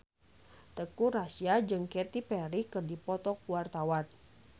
Teuku Rassya jeung Katy Perry keur dipoto ku wartawan